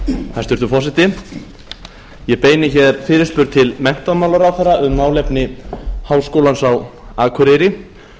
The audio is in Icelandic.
hæstvirtur forseti ég beini hér fyrirspurn til menntamálaráðherra um málefni háskólans á akureyri